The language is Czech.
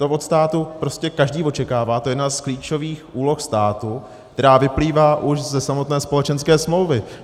To od státu prostě každý očekává, to je jedna z klíčových úloh státu, která vyplývá už ze samotné společenské smlouvy.